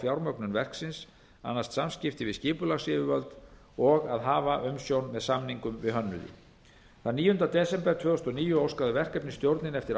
fjármögnun verksins annast samskipti við skipulagsyfirvöld og að hafa umsjón með samningum við hönnuði þann níunda desember tvö þúsund og níu óskaði verkefnisstjórnin eftir